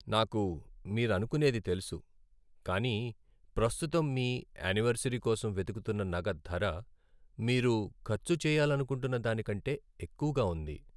నాకు మీరనుకునేది తెలుసు, కానీ ప్రస్తుతం మీ యానివర్సరీ కోసం వెతుకుతున్న నగ ధర మీరు ఖర్చు చేయాలనుకుంటున్న దానికంటే ఎక్కువగా ఉంది.